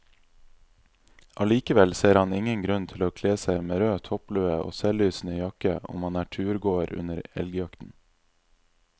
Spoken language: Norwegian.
Allikevel ser han ingen grunn til å kle seg med rød topplue og selvlysende jakke om man er turgåer under elgjakten.